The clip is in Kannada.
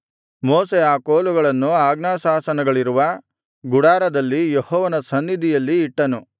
ಮೋಶೆ ಆ ಕೋಲುಗಳನ್ನು ಆಜ್ಞಾಶಾಸನಗಳಿರುವ ಗುಡಾರದಲ್ಲಿ ಯೆಹೋವನ ಸನ್ನಿಧಿಯಲ್ಲಿ ಇಟ್ಟನು